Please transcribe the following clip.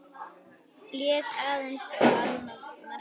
Blés aðeins á annað markið.